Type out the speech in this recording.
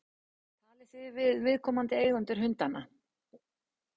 Talið þið við viðkomandi eigendur hundanna?